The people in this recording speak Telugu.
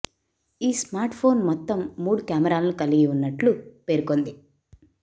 ఈ స్మార్ట్ ఫోన్ మొత్తం మూడు కెమెరాలను కలిగి ఉన్నట్లు పేర్కొంది